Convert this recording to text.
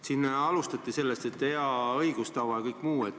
Siin alustati sellest, et hea õigustava ja kõik muu.